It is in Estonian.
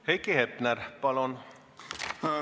Heiki Hepner, palun!